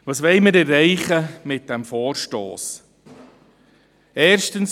Was wollen wir mit diesem Vorstoss erreichen?